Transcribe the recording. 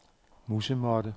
musemåtte